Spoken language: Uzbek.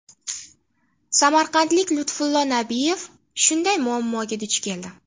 Samarqandlik Lutfullo Nabiyev shunday muammoga duch keldi.